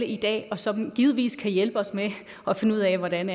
i dag og som givetvis kan hjælpe os med at finde ud af hvordan